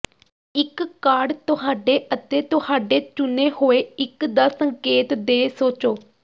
ਇੱਕ ਕਾਰਡ ਤੁਹਾਡੇ ਅਤੇ ਤੁਹਾਡੇ ਚੁਣੇ ਹੋਏ ਇੱਕ ਦਾ ਸੰਕੇਤ ਦੇ ਸੋਚੋ